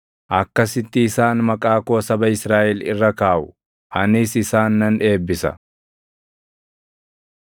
“Akkasitti isaan maqaa koo saba Israaʼel irra kaaʼu; anis isaan nan eebbisa.”